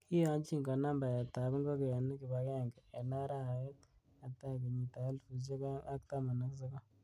Kiyonyin konam baetab ingogenik kibagenge en arawet Netai, kenyitab elfusiek oeng ak taman ak sogol.